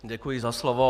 Děkuji za slovo.